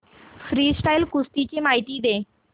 freestyle कुस्ती ची माहिती दे